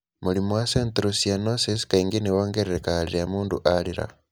Mũrimũ wa Central cyanosis kaingĩ nĩ wongererekaga rĩrĩa mũndũ arĩra.